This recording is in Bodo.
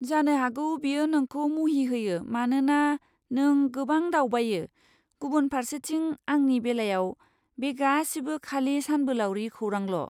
जानो हागौ बेयो नोंखौ मुहिहोयो मानोना नों गोबां दावबायो, गुबुन फारसेथिं, आंनि बेलायाव, बे गासिबो खालि सानबोलावरि खौरांल'।